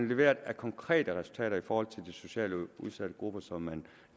leveret af konkrete resultater i forhold til de socialt udsatte grupper som man